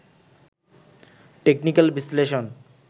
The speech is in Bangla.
টেকনিক্যাল বিশ্লেষণ